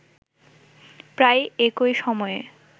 প্রায় একই সময়ে